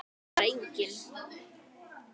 Það var eigin